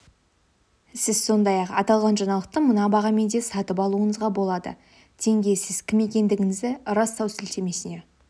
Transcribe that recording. сіз сондай-ақ аталған жаңалықты мына бағамен де сатып алуыңызға болады тенге сіз кім екендігіңізді растау сілтемесіне